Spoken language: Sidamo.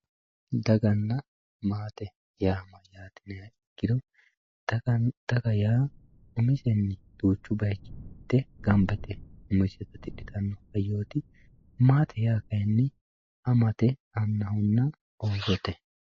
Daaganna maatte yaa mayyaate yiniha ikiro daaga yaa umisenni duuchu baayichi ganbba yitte umise haajjo tidhitano haayyotti maatte yaa kaayinni amatte annahonna ossotte